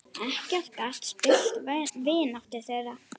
Ekkert gat spillt vináttu þeirra.